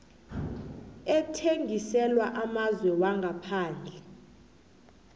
ethengiselwa amazwe wangaphandle